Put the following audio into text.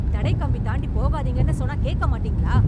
தடைக்கம்பி தாண்டி போகாதீங்கன்னு சொன்னா கேக்க மாட்டீங்களா?